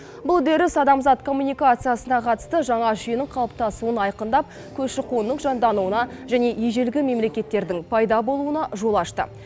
бұл үдеріс адамзат коммуникациясына қатысты жаңа жүйенің қалыптасуын айқындап көші қонның жандануына және ежелгі мемлекеттердің пайда болуына жол ашты